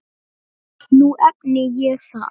Nú efni ég það.